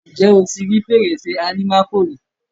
Ǹjẹ́ o ti rí Fèrèsé àlìmákò rí?